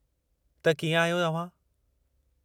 त कीअं आहियो अव्हां?